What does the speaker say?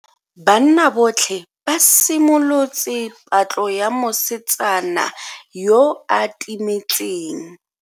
Banna botlhe ba simolotse patlo ya mosetsana yo o timetseng.